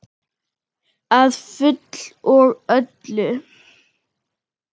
Að fullu og öllu.